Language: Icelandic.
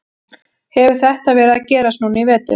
Hefur þetta verið að gerast núna í vetur?